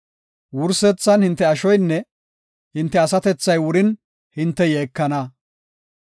Wursethan hinte ashoynne hinte asatethay wurin hinte yeekana.